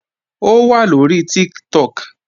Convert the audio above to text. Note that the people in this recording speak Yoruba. Ó wà lóri Tiktok